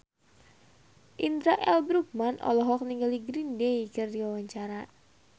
Indra L. Bruggman olohok ningali Green Day keur diwawancara